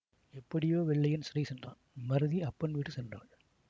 எப்படியோ வெள்ளையன் சிறை சென்றான் மருதி அப்பன் வீடு சென்றாள்